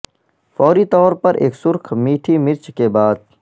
فوری طور پر ایک سرخ میٹھی مرچ کے بعد